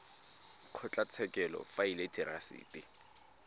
kgotlatshekelo fa e le therasete